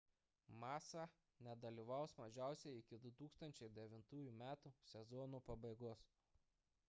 massa nedalyvaus mažiausiai iki 2009 m sezono pabaigos